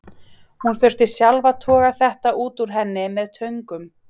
Ég þurfti sjálf að toga þetta út úr henni með töngum.